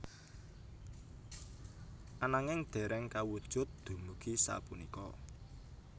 Ananging dereng kawujud dumugi sapunika